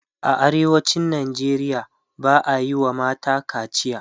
a arewacin Nigeria ba'a Yi wa mata kaciya